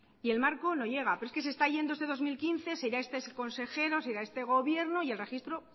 y el marco no llega pero es que se está yendo este dos mil quince se irá este consejero se irá este gobierno y el registro